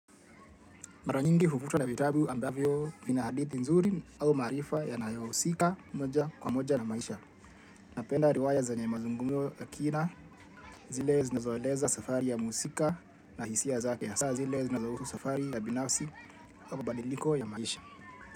Mara nyingi huvutwa na vitabu ambavyo vina hadithi nzuri au maarifa yanayo husika moja kwa moja na maisha. Napenda riwaya zenye mazungumzo ya kina zile zinazoeleza safari ya muhusika na hisia zake hasa zile zinazohusu safari ya binafsi au badiliko ya maisha.